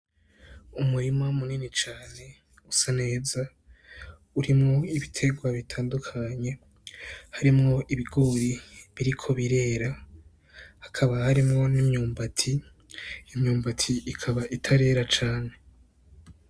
Umurima munini cane usa neza, ukaba urimwo ibiterwa bitandukanye, harimwo ibigori biriko birera, hakaba harimwo n'imyumbati, imyumbati ikaba itarera cane.